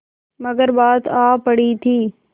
मगर बात आ पड़ी थी